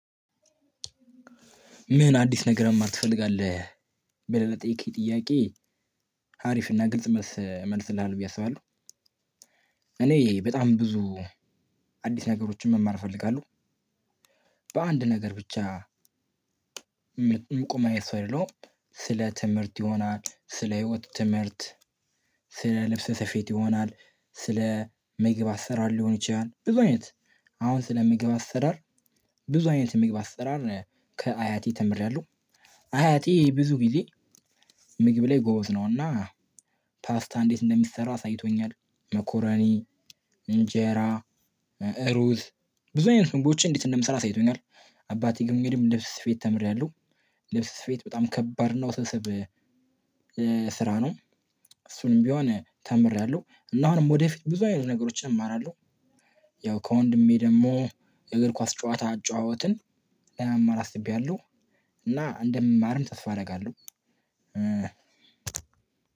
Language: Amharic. ምን አዲስ ነገር መማር ትፈልጋለህ? ብለህ ለጠየከኝ ጥያቄ አሪፍ እና ግልጽ መልስ እመልስልሀለው ብዬ አስባለሁ። እኔ በጣም ብዙ አዲስ ነገሮችን መማር እፈልጋለሁ። በአንድ ነገር ብቻ ምቆም አይነት ሰው አይደለሁም። ስለ ትምህርት ይሆናል፤ ስለ ህይወት ትምህርት፤ ስለ ልብሰ ስፌት ይሆናል፤ ስለ ምግብ አሰራር ሊሆን ይችላል፤ ብዙ አይነት። አሁን ስለ ምግብ አሰራር ብዙ አይነት የምግብ አሰራር ነው ያለው። ከአያቴ ተምሬያለሁ። አያቴ ብዙ ግዜ ምግብ ላይ ጎበዝ ነው። እና ፓስታ አንዴት እንደሚሰራ አሳይቶኛል። መኮረኒ፣ እንጀራ፣ እሩዝ፣ ብዙ አይነት ምግቦችን እንዴት እንደምሰራ አሳይቶኛል። በአባቴ ግን ልብስ ስፌት ተምሬያለሁ። ልብስ ስፌት በጣም ከባድ እና ውስብስብ ስራ ነው። እሱንም ቢሆን ተምሬያለሁ። እና አሁንም ወደፊት ብዙ አይነት ነገሮችን እማራለሁ። ያው ከወንድሜ ደግሞ የእግር ኳስ ጨዋታ አጫዋወትን ለመማር አስቤያለሁ። እና እንደምማርም ተስፋ አደርጋለሁ።